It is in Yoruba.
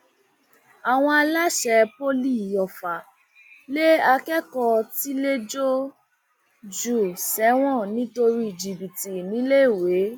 àwọn aláṣẹ poli ọfà lé akẹkọọ tiléẹjọ jù sẹwọn nítorí jìbìtì níléèwé